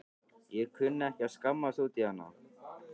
Ég kunni ekki að skammast út í hana.